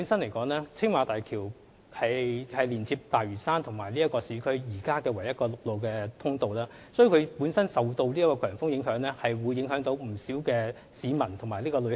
由於青馬大橋是現時連接大嶼山與市區的唯一陸路通道，所以每當它受強風影響便會影響不少市民及旅客。